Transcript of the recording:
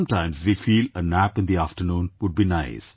Sometimes we feel a nap in the afternoon would be nice